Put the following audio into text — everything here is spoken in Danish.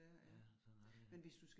Ja, sådan er det jo